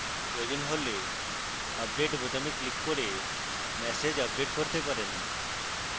প্রয়োজন হলে update বোতামে ক্লিক করে ম্যাসেজ আপডেট করতে পারেন